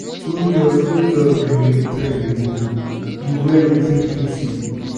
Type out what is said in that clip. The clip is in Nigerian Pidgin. no just no just gree make trends dey move you wear wetin fit you.